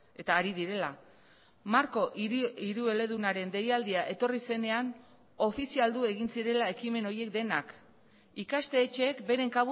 eta ari direla marko hirueledunaren deialdia etorri zenean ofizialdu egin zirela ekimen horiek denak ikastetxeek beren